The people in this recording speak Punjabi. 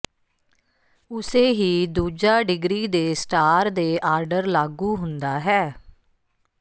ਉਸੇ ਹੀ ਦੂਜਾ ਡਿਗਰੀ ਦੇ ਸਟਾਰ ਦੇ ਆਰਡਰ ਲਾਗੂ ਹੁੰਦਾ ਹੈ